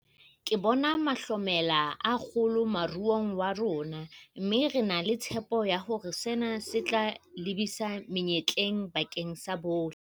Ke bona mahlomela a kgolo moruong wa rona, mme re na le tshepo ya hore sena se tla lebisa menyetleng bakeng sa bohle.